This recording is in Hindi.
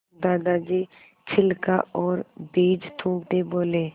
दादाजी छिलका और बीज थूकते बोले